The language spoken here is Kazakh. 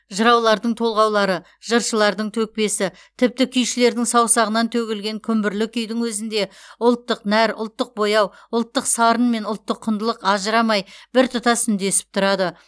жыраулардың толғаулары жыршылардың төкпесі тіпті күйшілердің саусағынан төгілген күмбірлі күйдің өзінде ұлттық нәр ұлттық бояу ұлттық сарын мен ұлттық құндылық ажырамай біртұтас үндесіп тұрады